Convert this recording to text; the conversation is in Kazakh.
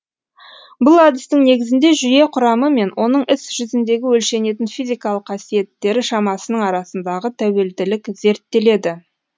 бұл әдістің негізінде жүйе құрамы мен оның іс жүзіндегі өлшенетін физикалық қасиеттері шамасының арасындағы тәуелділік зерттеледі